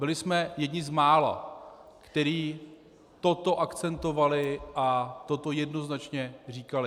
Byli jsme jedni z mála, kteří toto akcentovali a toto jednoznačně říkali.